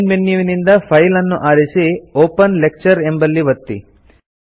main ಮೆನ್ಯುವಿನಿಂದ file ಅನ್ನು ಆರಿಸಿ ಒಪೆನ್ ಲೆಕ್ಚರ್ ಎಂಬಲ್ಲಿ ಒತ್ತಿ